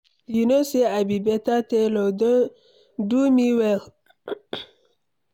You no say I be beta tailor, do me well.